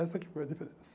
Essa que foi a diferença.